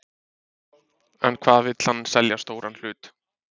En hvað vill hann selja stóran hlut?